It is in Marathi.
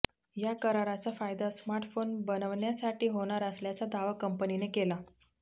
या कराराचा फायदा स्मार्टफोन बनवण्यासाठी होणार असल्याचा दावा कंपनीने केला